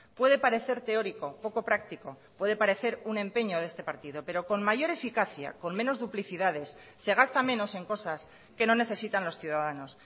puede parecer teórico poco práctico puede parecer un empeño de este partido pero con mayor eficacia con menos duplicidades se gasta menos en cosas que no necesitan los ciudadanos